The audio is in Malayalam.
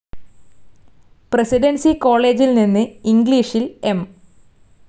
പ്രസിഡൻസി കോളേജിൽ നിന്ന് ഇംഗ്ളീഷിൽ എം.